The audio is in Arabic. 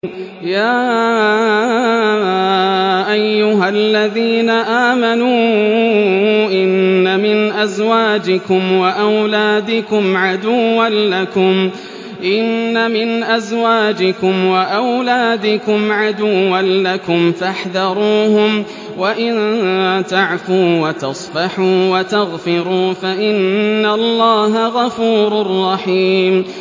يَا أَيُّهَا الَّذِينَ آمَنُوا إِنَّ مِنْ أَزْوَاجِكُمْ وَأَوْلَادِكُمْ عَدُوًّا لَّكُمْ فَاحْذَرُوهُمْ ۚ وَإِن تَعْفُوا وَتَصْفَحُوا وَتَغْفِرُوا فَإِنَّ اللَّهَ غَفُورٌ رَّحِيمٌ